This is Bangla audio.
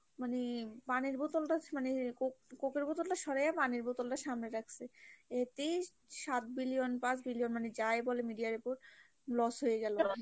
মানে পানির বোতলটা মানে cock cock এর বোতল টা সরাইয়া পানির বোতলটা সামনে রাখসি, এটাই সাত billion পাঁচ billion মানে যাই বলে media র উপর loss হয়ে গেলো।